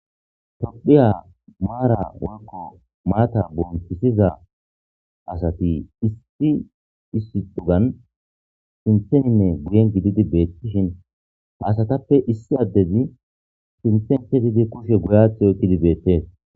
Tophiya maara woykko maata bonchisiza asati issi issi cuggan sintheninne guyen gididi beettishin hasatappe issi addezi sinthen kezidi kushe guyath yootidi beettes.